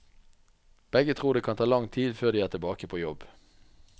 Begge tror det kan ta lang tid før de er tilbake på jobb.